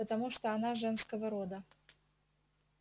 потому что она женского рода